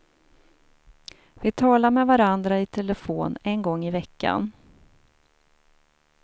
Vi talar med varandra i telefon en gång i veckan.